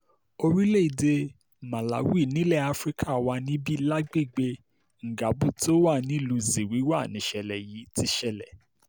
orílẹ̀‐èdè màláwì nílẹ̀ afrika wà níbí lágbègbè ngabu tó wà nílùú ziwilwa níṣẹ̀lẹ̀ yìí ti ṣẹlẹ̀